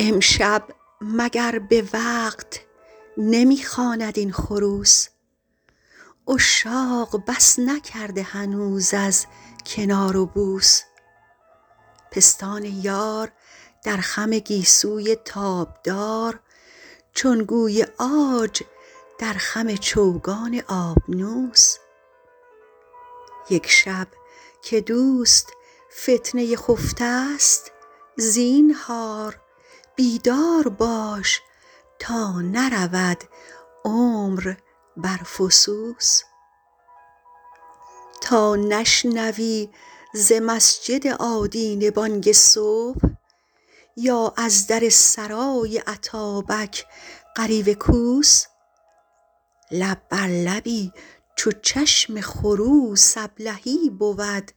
امشب مگر به وقت نمی خواند این خروس عشاق بس نکرده هنوز از کنار و بوس پستان یار در خم گیسوی تابدار چون گوی عاج در خم چوگان آبنوس یک شب که دوست فتنه خفته ست زینهار بیدار باش تا نرود عمر بر فسوس تا نشنوی ز مسجد آدینه بانگ صبح یا از در سرای اتابک غریو کوس لب بر لبی چو چشم خروس ابلهی بود